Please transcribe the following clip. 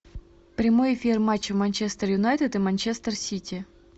прямой эфир матча манчестер юнайтед и манчестер сити